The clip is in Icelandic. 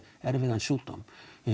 erfiðan sjúkdóm